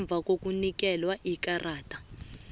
ngemva kokunikelwa ikarada